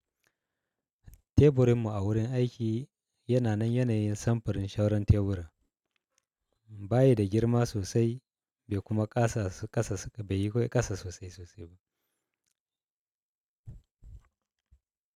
Teburinmu a wurin aiki yana nan yanayin samfurin sauran teburin, bayi da girma sosai bai kuma ƙasa sosai sosai ba.